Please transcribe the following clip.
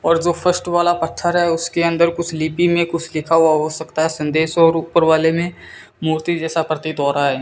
और जो फर्स्ट वाला पत्थर है उसके अंदर कुछ लिपि में कुछ लिखा हुआ हो सकता है संदेश और ऊपर वाले में मूर्ति जैसा प्रतीत हो रहा है।